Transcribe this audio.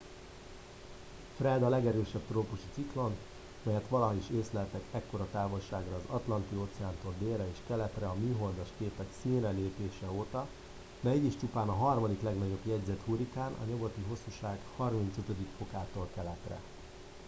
fred” a legerősebb trópusi ciklon melyet valaha is észleltek ekkora távolságra az atlanti-óceántól délre és keletre a műholdas képek színre lépése óta de így is csupán a harmadik legnagyobb jegyzett hurrikán a nyugati hosszúság 35°-tól keletre